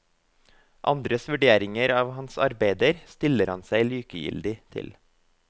Andres vurderinger av hans arbeider stiller han seg likegyldig til.